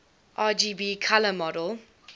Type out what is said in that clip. rgb color model